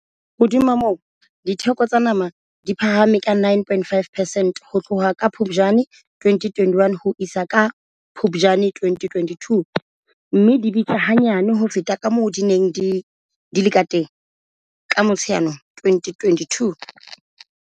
Hodima moo, ditheko tsa nama di phahame ka 9.5 percent ho tloha ka Phuptjane 2021 ho isa ka Phuptjane 2022, mme di bitsa hanyane ho feta kamoo di neng di le kateng ka Motsheanong 2022.